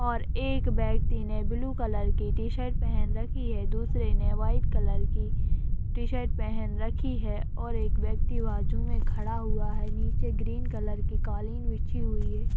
और एक व्यक्ति ने ब्लू कलर की टी -शर्ट पहन रखी है दूसरे ने वाइट कलर की टी -शर्ट पहन रखी है और एक व्यक्ति बाजू में खड़ा हुआ है नीचे ग्रीन कलर की कालीन बिछी हुई है।